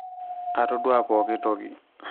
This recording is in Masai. atodua pookin toki